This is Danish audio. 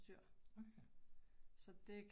Okay